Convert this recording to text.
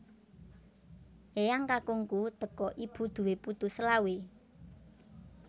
Eyang kakungku teko ibu duwe putu selawe